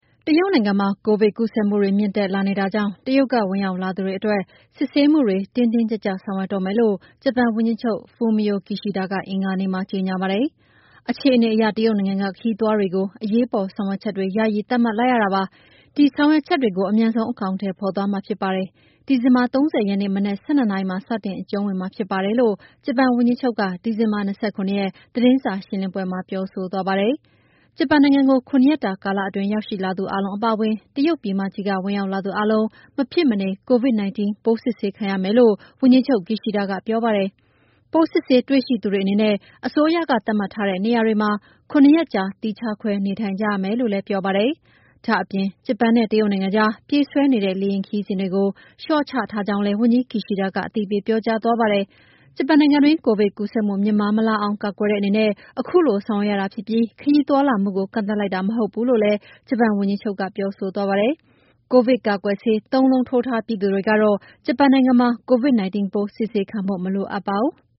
တရုတ်နိုင်ငံမှာ ကိုဗစ်ပိုးကူးစက်မှုတွေ မြင့်တက်လာနေတာကြောင့် တရုတ်က ဝင်ရောက်လာသူတွေအတွက် စစ်ဆေးမှု တင်းတင်း ကြပ်ကြပ် ဆောင်ရွက်တော့မယ်လို့ ဂျပန်ဝန်ကြီးချုပ် Fumio Kishida က အင်္ဂါနေ့မှာ ကြေညာပါတယ်။ " အခြေအနေအရ တရုတ်နိုင်ငံက ခရီးသွားတွေကို အရေးပေါ်ဆောင်ရွက်ချက်တွေ ယာယီသတ်မှတ်လိုက်ရတာပါ။ ဒီဆောင်ရွက်ချက်တွေကိုလည်း အမြန်ဆုံး အကောင်အထည်ဖော်သွားမှာဖြစ်ပါတယ်။ ဒီဇင်ဘာ ၃၀ ရက်နေ့ မနက် ၁၂ နာရီမှာစတင်အကျုံးဝင်မှာဖြစ်ပါတယ် "လို့ ဂျပန်ဝန်ကြီးချုပ်က ဒီဇင်ဘာ ၂၇ ရက်၊ သတင်းစာရှင်းလင်းပွဲ မှာပြောဆိုသွားတာဖြစ်ပါတယ်။ ဂျပန်နိုင်ငံကို ၇ ရက်တာကာလအတွင်းရောက်ရှိလာသူအားလုံးအပါအဝင် တရုတ်ပြည်မကြီးက ဝင်ရောက်လာသူအားလုံး မဖြစ်မနေ Covid-19 ပိုးစစ်ဆေးခံရမယ်လို့ ဝန်ကြီးချုပ် Kishida ကပြောပါတယ်။ ပိုးစစ်ဆေးတွေ့ရှိသူတွေအနေနဲ့ အစိုးရကသတ်မှတ်ထားတဲ့ နေရာတွေမှာ ၇ ရက်ကြာသီးခြားခွဲနေထိုင်ကြရမယ်လို့လည်းပြောပါတယ်။ ဒါ့အပြင် ဂျပန်နဲ့ တရုတ်နိုင်ငံကြား ပြေးဆွဲနေတဲ့ လေယာဉ်ခရီးစဉ်တွေကို လေ ျှာ့ချထားကြောင်းလည်း ဝန်ကြီး Kishida ကအသိပေးပြောကြားသွားတာပါ။ ဂျပန်နိုင်ငံတွင်း ကိုဗစ်ပိုးကူးစက်မှု မြင့်မားမလာအောင် ကာကွယ်တဲ့အနေနဲ့ ခုလိုဆောင်ရွက်ရတာဖြစ်ပြီး ခရီးသွားလာမှုကို ကန့်သတ်လိုက်တာမဟုတ်ဘူးလို့လည်း ဂျပန်ဝန်ကြီးချုပ်က ပြောဆိုသွားပါတယ်။ ကိုဗစ်ကာကွယ်ဆေး ၃ လုံးထိုးထားပြီးသူတွေကတော့ ဂျပန်နိုင်ငံမှာ Covid-19 ပိုးစစ်ဆေးခံဖို့ မလိုအပ်ပါဘူး။